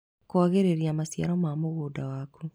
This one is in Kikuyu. Kwagĩrĩria maciaro ma mũgũnda waku.